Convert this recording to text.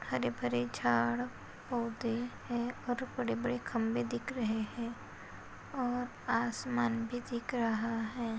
हरे भरे झाड पौधे है और बड़े बड़े खंबे दिख रहे है और आसमान भी दिख रहा है।